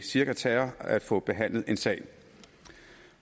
cirka tager at få behandlet en sag